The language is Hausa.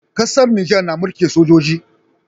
Ƙasar nijar na mulkin sojoji